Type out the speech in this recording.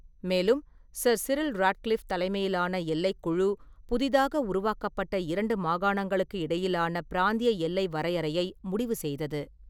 மேலும், sir Cyril Radcliffe தலைமையிலான எல்லைக் குழு, புதிதாக உருவாக்கப்பட்ட இரண்டு மாகாணங்களுக்கு இடையிலான பிராந்திய எல்லை வரையறையை முடிவு செய்தது.